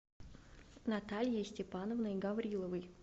натальей степановной гавриловой